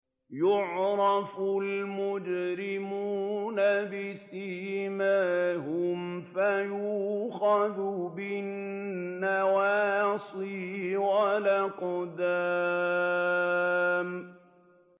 يُعْرَفُ الْمُجْرِمُونَ بِسِيمَاهُمْ فَيُؤْخَذُ بِالنَّوَاصِي وَالْأَقْدَامِ